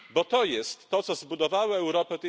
Bo to jest to, co zbudowała Europa.